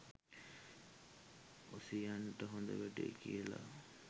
ඔසියන්ට හොඳ වැඩේ කියලා